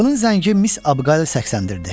Qapının zəngi Miss Abuqaylı səksəndirdi.